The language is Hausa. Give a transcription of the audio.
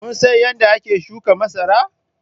Kun san yadda ake shuka masara?